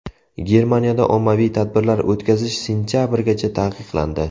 Germaniyada ommaviy tadbirlar o‘tkazish sentabrgacha taqiqlandi.